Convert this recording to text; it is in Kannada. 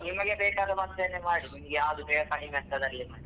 ನಿಮಗೆ ಬೇಕಾದ ಮದ್ದನ್ನೇ ಮಾಡಿ ನಿಮ್ಗೆ ಯಾವ್ದು ಬೇಗ ಕಡಿಮೆ ಆಗ್ತದೆ ಅಲ್ಲೇ ಮಾಡಿ.